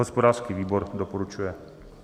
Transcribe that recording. Hospodářský výbor doporučuje.